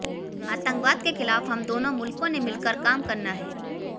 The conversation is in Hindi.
आतंकवाद के खिलाफ हम दोनों मुल्कों ने मिलकर काम करना है